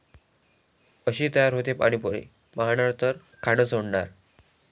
अशी तयार होते पाणी पुरी, पाहणार तर खाणं सोडणार!